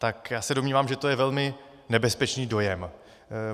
Tak já se domnívám, že to je velmi nebezpečný dojem.